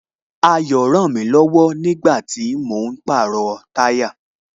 Ayo rànmí lọ̀wọ̀ nígbàtí mò ń pàrọ̀ táyà